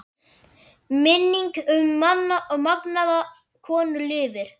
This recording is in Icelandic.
Minning um magnaða konu lifir.